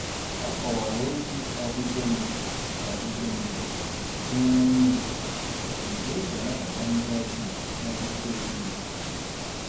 Ọ kọwara otu ọdịbendị ọdịbendị gụnyere mmiri, nke e ji anabata ndị ọbịa n'ọtụtụ ezinaụlọ.